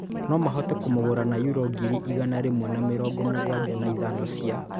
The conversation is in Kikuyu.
No mahote kũmũgũra na yuro ngiri igana rĩmwe na mĩrongo mũgwanja na ithano cia